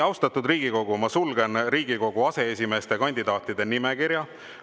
Austatud Riigikogu, ma sulgen Riigikogu aseesimeeste kandidaatide nimekirja.